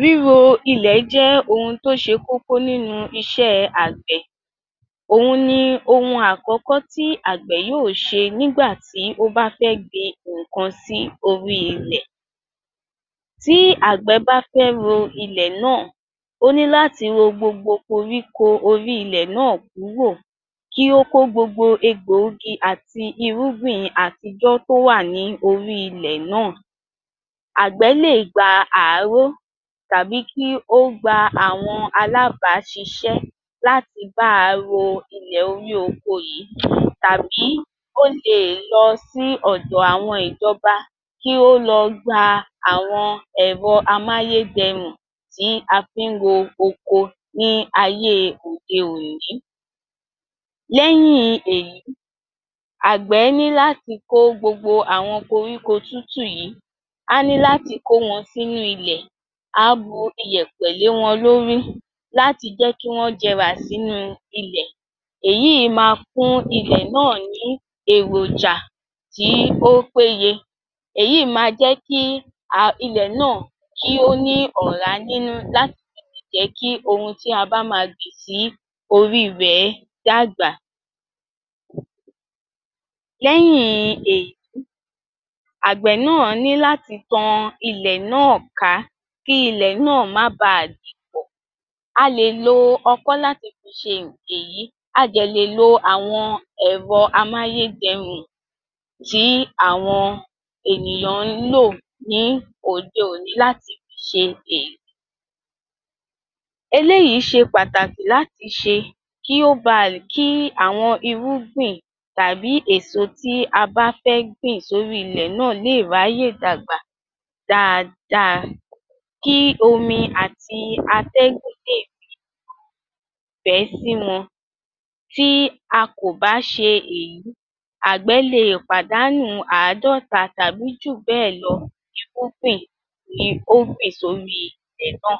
Ríro ilẹ̀ jẹ́ ohun tó ṣe kókó nínú iṣẹ́ àgbẹ̀. Òhun ní ohun àkọ́kọ́ tí Àgbẹ̀ yóò ṣe nígbà ó bá fẹ́ gbin nǹkan sí orí ilẹ̀. Tí Àgbẹ̀ bá fẹ́ ro ilẹ̀ náà, ó ní láti ro gbogbo koríko orí ilẹ̀ náà kúrò, kí ó kó gbogbo egbòogi àti irúgbìn àtijọ́ tó wà lórí ilẹ̀ náà. Àgbẹ̀ lè gba àáró tàbí kí ó gba àwọn alábàṣiṣẹ́ láti bá ro ilẹ̀ orí oko yìí tàbi ó lè lọ sí ọ̀dọ̀ àwọn ìjọba kí ó lọ gba àwọn ẹ̀rọ amúyédẹ̀rù tí a fi roko ní ayé òde-òní. Lẹ́yìn èyí, Àgbẹ̀ ní láti kó gbogbo àwọn koríko tútù yìí, á ní láti kó wọn sínú ilẹ̀, a bu iyẹ̀pẹ̀ lé wọn lórí láti jẹ́ kí wọn jẹ̀rà sínú ilẹ̀. Èyí máa fún ilẹ̀ náà ní èròjà tí o pé yẹ. Èyí máa jẹ́ kí ilẹ̀ náà kí ó ní ọ̀rá nínú láti fi lè jẹ́ kí ohun tí a bá máa gbìn sí orí ìbẹ̀ dàgbà. Lẹ́yìn èyí, Àgbẹ̀ náà ni láti tọ ilẹ̀ náà ká, kí ilẹ̀ náà má bà dìpọ̀. A lè lo ọkọ́ láti fi ṣe òkè èyí, a jẹ̀ lè lo àwọn ẹ̀rọ amúyédẹ̀rù tí àwọn ènìyàn lò ní òde-òní láti fi ṣe èyí. Eléyìí ṣe pàtàkì láti ṣe kì ó bà, kí àwọn irúgbìn tàbí èso tí a fẹ́ gbìn lórí ilẹ̀ náà lè ráyé dàgbà dáadáa kí omi àti atẹ́gùn lé fẹ́ sí wọn. Tí a kò bá ṣe èyí, Àgbẹ̀ lè pàdánù àádọ́ta tàbí jù bẹ́è lọ irúgbìn tí o gbìn sí orí ilẹ̀ náà